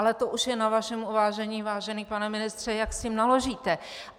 Ale to už je na vašem uvážení, vážený pane ministře, jak s tím naložíte.